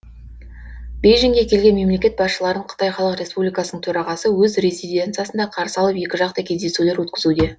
бейжіңге келген мемлекет басшыларын қытай халық республикасының төрағасы өз резиденциясында қарсы алып екіжақты кездесулер өткізуде